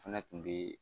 Fɛnɛ kun be